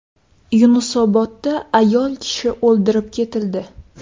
Yunusobodda ayol kishi o‘ldirib ketildi.